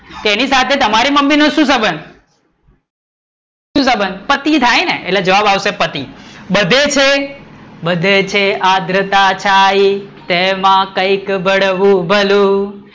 તેની સાથે તો તમારી મમ્મી નો શુ સબંધ? શુ સબંધ? પતિ થાય ને એટલે જવાબ આવશે પતિ બધેય છે બધેય છે આદ્રતા છાઈ તેમાં કંઈક બળવું ભલું